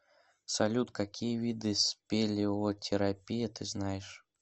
салют какие виды спелеотерапия ты знаешь